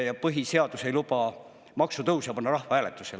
Ja põhiseadus ei luba maksutõusu panna rahvahääletusele.